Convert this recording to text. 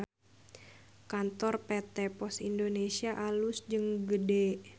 Kantor PT POS Indonesia alus jeung gede